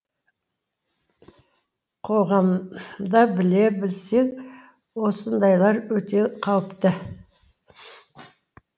қоғамда біле білсең осындайлар өте қауіпті